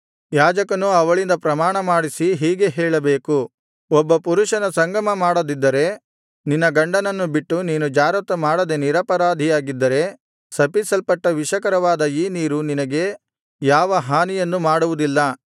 ಯಾಜಕನೂ ಅವಳಿಂದ ಪ್ರಮಾಣಮಾಡಿಸಿ ಹೀಗೆ ಹೇಳಬೇಕು ಒಬ್ಬ ಪರಪುರುಷನ ಸಂಗಮಮಾಡದಿದ್ದರೆ ನಿನ್ನ ಗಂಡನನ್ನು ಬಿಟ್ಟು ನೀನು ಜಾರತ್ವ ಮಾಡದೇ ನಿರಪರಾಧಿಯಾಗಿದ್ದರೆ ಶಪಿಸಲ್ಪಟ್ಟ ವಿಷಕರವಾದ ಈ ನೀರು ನಿನಗೆ ಯಾವ ಹಾನಿಯನ್ನು ಮಾಡುವುದಿಲ್ಲ